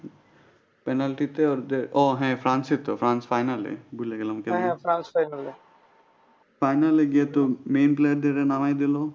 Penalty তে তো ওদের ও হ্যাঁ ফ্রান্সই তো ফ্রান্স final এ ভুলে গেলাম কেমনে। হ্যাঁ ফ্রান্স final এ final এ গিয়ে তো main player দের নামায় দিলো